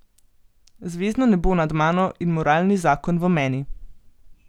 Zvezdno nebo nad mano in moralni zakon v meni!